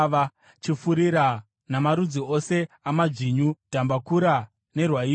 chifurira, namarudzi ose amadzvinyu, dhambakura nerwaivhi.